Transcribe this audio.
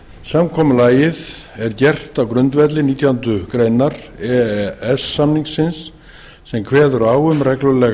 samkomulagið er gert á grundvelli nítjánda grein e e s samningsins sem kveður á um reglulega